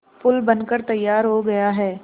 पुल बनकर तैयार हो गया है